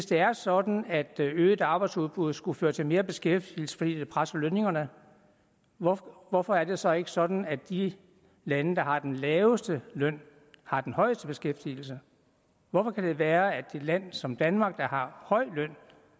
det er sådan at øget arbejdsudbud skulle føre til mere beskæftigelse fordi det presser lønningerne hvorfor hvorfor er det så ikke sådan at de lande der har den laveste løn har den højeste beskæftigelse hvordan kan det være at et land som danmark der har høj løn